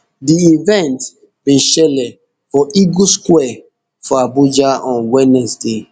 di event bin shele for eagle square for abuja on wednesday